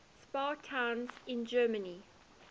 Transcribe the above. spa towns in germany